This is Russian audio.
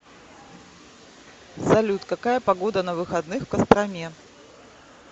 салют какая погода на выходных в костроме